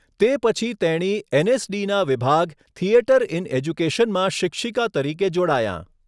તે પછી તેણી એનએસડીના વિભાગ, થિયેટર ઇન એજ્યુકેશનમાં શિક્ષિકા તરીકે જોડાયાં.